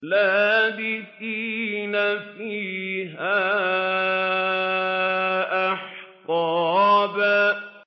لَّابِثِينَ فِيهَا أَحْقَابًا